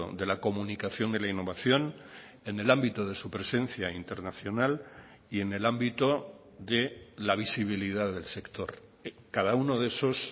de la comunicación de la innovación en el ámbito de su presencia internacional y en el ámbito de la visibilidad del sector cada uno de esos